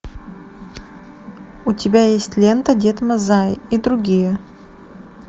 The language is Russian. у тебя есть лента дед мазай и другие